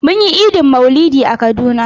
Mun yi Idin maulidi a kaduna.